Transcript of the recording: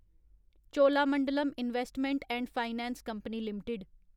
Cholamandalam investment and finance company limited